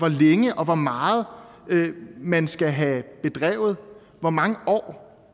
længe og hvor meget man skal have bedrevet og hvor mange år